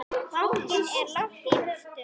Bankinn er langt í burtu.